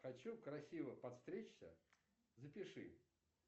хочу красиво подстричься запиши